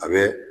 A bɛ